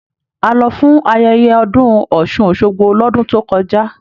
A lọ fún ayẹyẹ ọdún ọ́sun-osogbo l'ọdun tó kọjá.